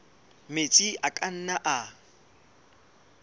metsi a ka nnang a